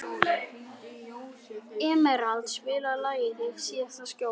Emerald, spilaðu lagið „Þitt síðasta skjól“.